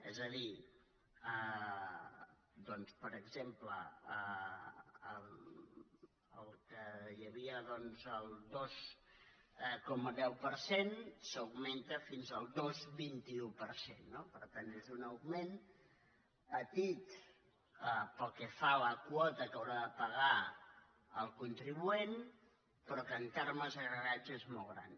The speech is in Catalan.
és a dir per exemple el que hi havia el dos coma deu per cent s’augmenta fins al dos coma vint un per cent no per tant és un augment petit pel que fa a la quota que haurà de pagar el contribuent però que en termes agregats és molt gran